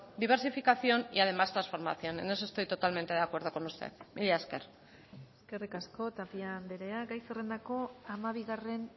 diversificación y además transformación en eso estoy totalmente de acuerdo con usted mila esker eskerrik asko tapia andrea gai zerrendako hamabigarren